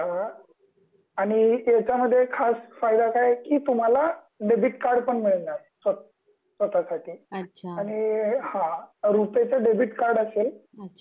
अ आणि याचा मध्ये खास फायदा काय कि तुम्हाला डेबिट कार्ड पण मिळणार स्वत स्वतःसाठी